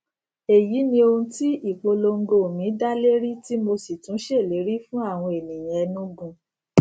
èyí ni ohun tí ìpolongo mi dálérí tí mo sì tún ṣèlérí fún àwọn ènìyàn enugu